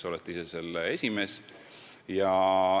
Te olete ise selle esimees.